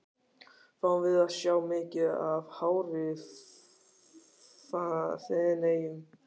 Fáum við að sjá mikið af hári í Feneyjum?